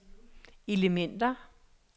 elementer